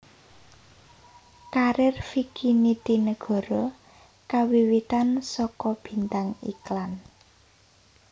Karir Vicky Nitinegoro kawiwitan saka bintang iklan